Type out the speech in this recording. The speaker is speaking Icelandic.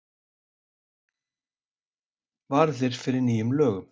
Varðir fyrir nýjum lögum